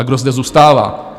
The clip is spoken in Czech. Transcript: A kdo zde zůstává?